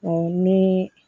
ni